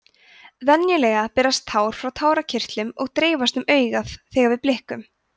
venjulega berast tár frá tárakirtlum og dreifast um augað þegar við blikkum